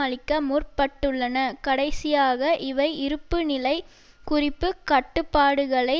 அளிக்க முற்பட்டுள்ளன கடைசியாக இவை இருப்பு நிலை குறிப்பு கட்டுப்பாடுகளை